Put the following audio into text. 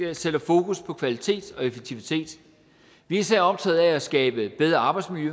vi sætter fokus på kvalitet og effektivitet vi er især optaget af at skabe bedre arbejdsmiljø